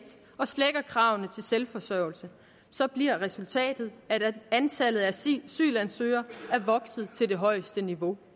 og slækker kravene til selvforsørgelse så er resultatet at antallet af asylansøgere er vokset til det højeste niveau